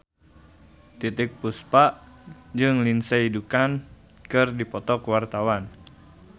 Titiek Puspa jeung Lindsay Ducan keur dipoto ku wartawan